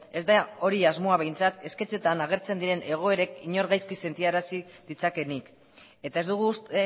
ez da hori asmoa behintzat sketchetan agertzen diren egoerek inor gaizki sentiarazi ditzakeenik eta ez dugu uste